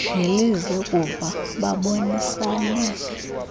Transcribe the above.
ngelize kuva babonisane